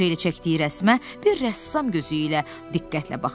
Tom fırça ilə çəkdiyi rəsmə bir rəssam gözü ilə diqqətlə baxırdı.